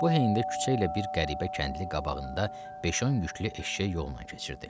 Bu heyndə küçə ilə bir qəribə kəndli qabağında 5-10 yüklü eşşək yolla keçirdi.